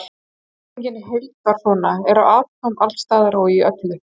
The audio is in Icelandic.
Spurningin í heild var svona: Eru atóm alls staðar og í öllu?